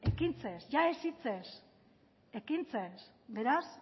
ekintzez ia ez hitzez ekintzez beraz